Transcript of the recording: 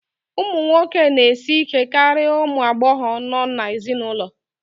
ụmụ nwoke na-esi ike karịa ụmụ agbọghọ nọ n'ezinụlọ